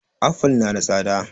Aful na da tsada